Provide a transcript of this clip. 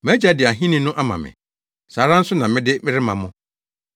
Mʼagya de ahenni no ama me. Saa ara nso na mede rema mo.